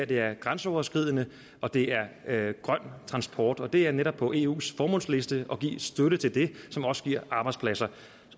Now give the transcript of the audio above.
det er grænseoverskridende og det er er grøn transport og det er netop på eus formålsliste at give støtte til det som også giver arbejdspladser